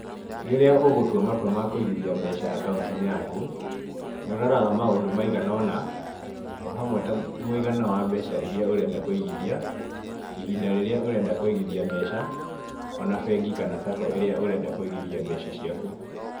Rĩrĩa ũgũtua matua ma kũigithia mbeca akaũnti-inĩ yaku, nĩ ũroraga maũndũ maigana ũna,o hamwe ta mũigana wa mbeca iria ũrenda kũigithia, ihinda rĩrĩa ũrenda kũigithia mbeca,o na bengi kana sacco ĩrĩa ũrenda kũigithia mbeca ciaku.